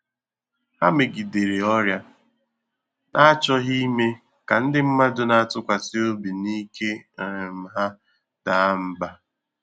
Há megidèrè ọ́rị́à́, n’àchọ́ghị́ ìmé kà ndị́ mmàdụ̀ nà-àtụ́kwàsị́ óbí nà íké um há daa mbà.